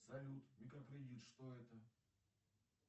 салют микрокредит что это